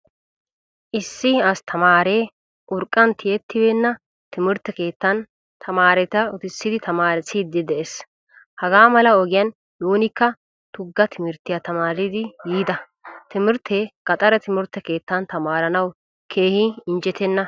Issi asttamaare urqqantiyettibena timirtte keettan tamaretta uttisid tamaarisidi de'ees. Hagaamala ogiyan nuunikka tugga timirttiyaa tamaaridi yiida. Timirtte gaxare timirtte keettan tamaaranawu keehin injjettena.